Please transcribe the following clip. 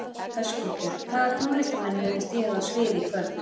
Höskuldur: Hvaða tónlistarmenn munu stíga á svið í kvöld?